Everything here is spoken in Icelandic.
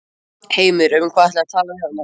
Heimir: Um hvað ætlið þið að tala við hana?